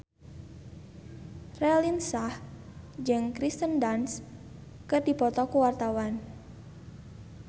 Raline Shah jeung Kirsten Dunst keur dipoto ku wartawan